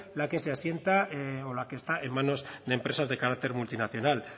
la que se asienta o la que está en manos de empresas de carácter multinacional